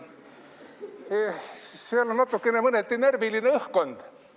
Seal on natuke mõneti närviline õhkkond.